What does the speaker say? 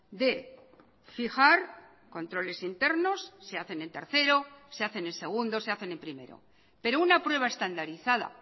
de fijar controles internos se hacen en tercero se hacen en segundo se hacen en primero pero una prueba estandarizada